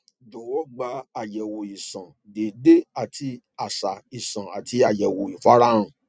jọwọ gba ayẹwo iṣan deede ati aṣa iṣan ati ayẹwo ifarahan